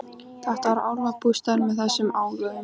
Þetta var álfabústaður með þessum álögum.